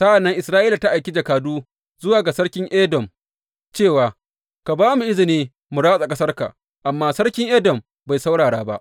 Sa’an nan Isra’ila ta aiki jakadu zuwa ga sarkin Edom cewa, Ka ba mu izini mu ratsa ƙasarka,’ amma sarkin Edom bai saurara ba.